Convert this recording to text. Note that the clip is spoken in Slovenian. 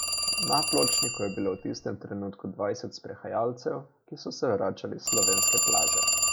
Na pločniku je bilo v tistem trenutku dvajset sprehajalcev, ki so se vračali s Slovenske plaže.